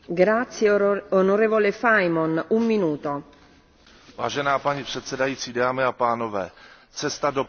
Paní předsedající, cesta do pekel bývá dlážděna dobrými úmysly, a to je přesně případ této směrnice.